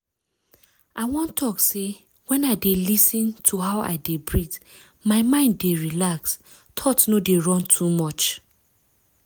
i wan talk say wen i dey lis ten to how i de breath my mind dey relax thoughts no dey run too much.